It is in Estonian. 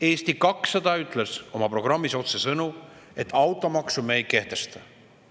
Eesti 200 ütles oma programmis otsesõnu, et automaksu me ei kehtesta.